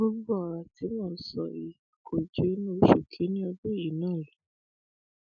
gbogbo ọrọ tí mò ń sọ yìí kò ju inú oṣù kínínní ọdún yìí náà lọ